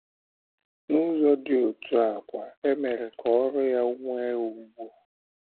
N’ụzọ dị otú a kwa, e mere ka oru ya nwee ùgwù.